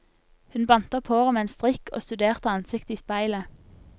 Hun bandt opp håret med en strikk og studerte ansiktet i speilet.